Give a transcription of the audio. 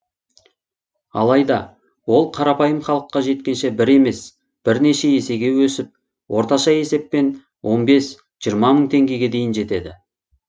алайда ол қарапайым халыққа жеткенше бір емес бірнеше есеге өсіп орташа есеппен он бес жиырма мың теңгеге дейін жетеді